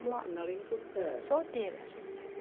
Uma solteira.